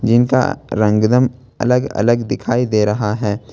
जिनका रंग एकदम अलग अलग दिखाई दे रहा है।